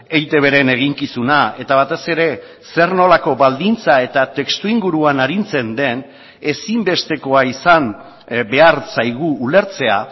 eitbren eginkizuna eta batez ere zer nolako baldintza eta testu inguruan arintzen den ezinbestekoa izan behar zaigu ulertzea